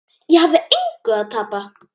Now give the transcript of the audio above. Ég hafði engu að tapa.